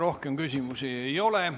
Rohkem küsimusi ei ole.